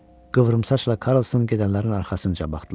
Qıvrımsaçla Karlson gedənlərin arxasınca baxdılar.